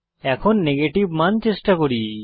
এখন নেগেটিভ মান চেষ্টা করি